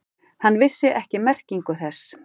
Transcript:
Hann vissi ekki merkingu þess.